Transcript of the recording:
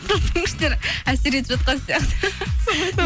тылсым күштер әсер етіп жатқан сияқты соны